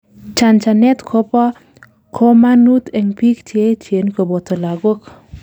chanchanet kobo komanut en biik Cheechen koboto lagok